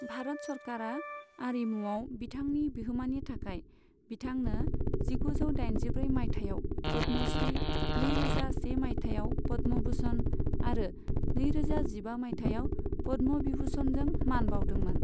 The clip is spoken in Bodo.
भारत सरकारआ आरिमुवाव बिथांनि बिहोमानि थाखाय बिथांनो जिगुजौ दाइनजिब्रै माइथायाव पद्म'श्री, नै रोजा से माइथायाव पद्म' भूषण आरो नै रोजा जिबा माइथायाव पद्म' भिभुषणनजों मान बावदोंमोन।